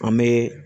An bɛ